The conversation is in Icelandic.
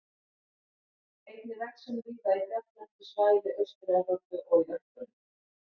Einnig vex hún víða í fjalllendu svæði Austur-Evrópu og í Ölpunum.